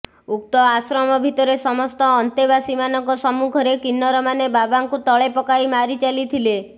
ଉକ୍ତ ଆଶ୍ରମ ଭିତରେ ସମସ୍ତ ଅନ୍ତେବାସୀମାନଙ୍କ ସମ୍ମୁଖରେ କିନ୍ନରମାନେ ବାବାଙ୍କୁ ତଳେ ପକାଇ ମାରି ଚାଲିଥିଲେ